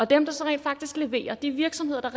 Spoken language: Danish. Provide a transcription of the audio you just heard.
dem der så rent faktisk leverer de virksomheder der